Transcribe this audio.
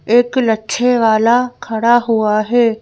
एक लच्छेवाला खड़ा हुआ है।